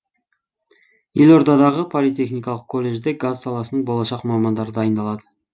елордадағы политехникалық колледжде газ саласының болашақ мамандары дайындалады